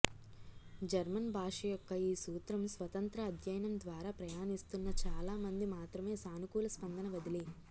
German భాష యొక్క ఈ సూత్రం స్వతంత్ర అధ్యయనం ద్వారా ప్రయాణిస్తున్న చాలా మంది మాత్రమే సానుకూల స్పందన వదిలి